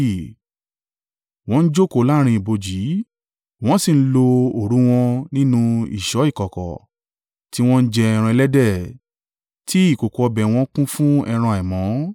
wọ́n ń jókòó láàrín ibojì wọ́n sì ń lo òru wọn nínú ìṣọ́ ìkọ̀kọ̀; tí wọ́n ń jẹ ẹran ẹlẹ́dẹ̀, tí ìkòkò ọbẹ̀ wọn kún fún ẹran àìmọ́;